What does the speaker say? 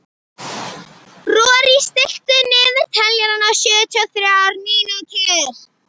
Rorí, stilltu niðurteljara á sjötíu og þrjár mínútur.